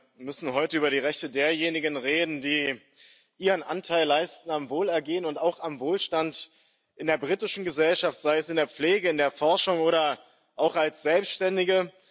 Wir müssen heute über die Rechte derjenigen reden, die ihren Anteil am Wohlergehen und auch am Wohlstand in der britischen Gesellschaft leisten, sei es in der Pflege, in der Forschung oder auch als Selbständige.